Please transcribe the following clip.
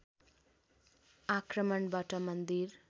आक्रमणबाट मन्दिर